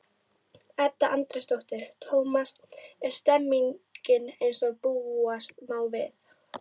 Edda Andrésdóttir: Tómas, er stemningin eins og búast má við?